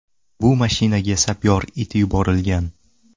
Bu mashinaga sapyor it yuborilgan.